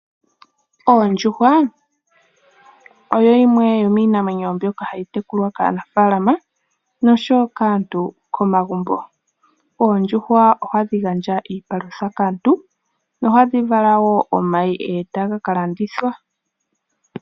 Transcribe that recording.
Oondjuhwa, oyo yimwe yomiinamwenyo mbyoka hayi tekulwa kaanafaalama noshowo kaantu komagumbo. Oondjuhwa oha dhi gandja iipalutha kaantu, ohadhi vala wo omayi etaga ka landithwa.